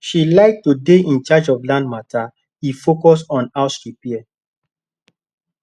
she like to dey in charge of land matter he focus on house repair